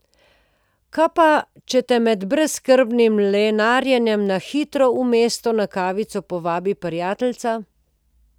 Kaj pa, če te med brezskrbnim lenarjenjem na hitro v mesto na kavico povabi prijateljica?